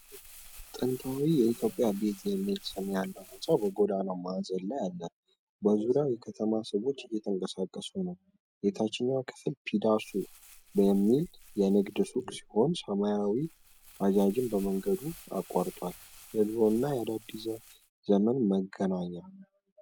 ጥንታዊ ኢትዮጵያ ቤት የሚል ስም ያለው ሕንጻ በጎዳና ማዕዘን ላይ አለ። በዙሪያው የከተማ ሰዎች እየተንቀሳቀሱ ነው። የታችኛው ክፍል "ፒዳሱ" የሚባል የንግድ ሱቅ ሲሆን፣ ሰማያዊው ባጃጅም መንገዱን አቋርጧል። የድሮና የአዲስ ዘመን መገናኛ።